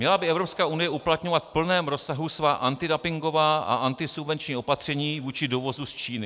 ... měla by Evropská unie uplatňovat v plném rozsahu svá antidumpingová a antisubvenční opatření vůči dovozu z Číny.